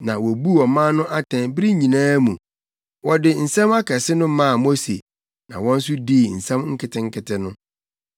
Na wobuu ɔman no atɛn bere nyinaa mu. Wɔde nsɛm akɛse no maa Mose na wɔn nso dii nsɛm nketenkete no.